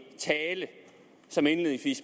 tale